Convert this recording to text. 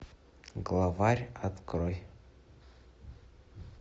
главарь открой